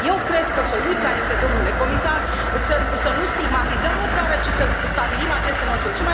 Eu cred că soluția este, domnule comisar, să nu stigmatizăm o țară, ci să stabilim aceste măsuri.